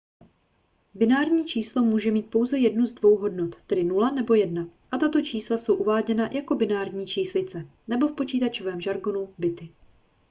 binární číslo může mít pouze jednu z dvou hodnot tedy 0 nebo 1 a tato čísla jsou uváděna jako binární číslice nebo v počítačovém žargonu bity